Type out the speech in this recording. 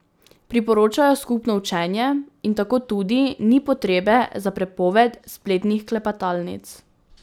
Priporočajo skupno učenje in tako tudi ni potrebe za prepoved spletnih klepetalnic.